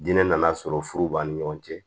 Diinɛ nana sɔrɔ furu b'a ni ɲɔgɔn cɛ